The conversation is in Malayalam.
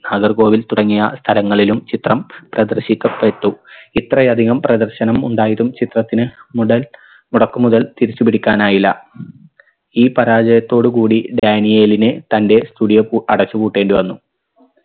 നാഗർകോവിൽ തുടങ്ങിയ സ്ഥലങ്ങളിലും ചിത്രം പ്രദർശിക്കപ്പെട്ടു ഇത്രയധികം പ്രദർശനം ഉണ്ടായതും ചിത്രത്തിന് മുടൽ മുടക്ക് മുതൽ തിരിച്ചു പിടിക്കാനായില്ല ഈ പരാജയത്തോട് കൂടി ഡാനിയേലിന് തൻറെ studio പൂ അടച്ചു പൂട്ടേണ്ടി വന്നു